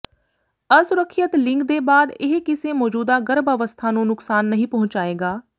ਅਸੁਰੱਖਿਅਤ ਲਿੰਗ ਦੇ ਬਾਅਦ ਇਹ ਕਿਸੇ ਮੌਜੂਦਾ ਗਰਭ ਅਵਸਥਾ ਨੂੰ ਨੁਕਸਾਨ ਨਹੀਂ ਪਹੁੰਚਾਏਗਾ